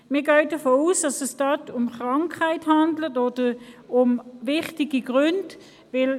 Wir gehen davon aus, dass es sich dabei um Krankheitsfälle oder um wichtige Gründe handelt.